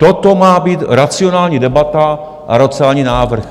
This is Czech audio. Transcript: Toto má být racionální debata a racionální návrh?